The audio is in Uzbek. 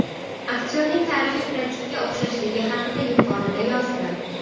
Aktyorning tarixiy prototipga o‘xshashligi haqida yuqorida yozdim.